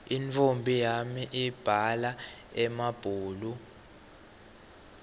intfombi yami ibhala emabhulu